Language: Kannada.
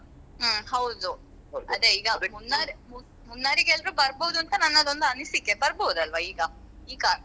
ಹ್ಮ್ ಹೌದು Munnar Munnar ಗೆ ಎಲ್ರು ಬರ್ಬೋದು ಅಂತ ನನ್ನದೊಂದು ಅನಿಸಿಕೆ ಬರ್ಬೋದಲ್ವ ಈಗ ಈಗ.